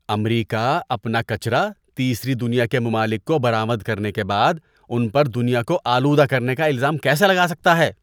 امریکہ اپنا کچرا تیسری دنیا کے ممالک کو برآمد کرنے کے بعد ان پر دنیا کو آلودہ کرنے کا الزام کیسے لگا سکتا ہے؟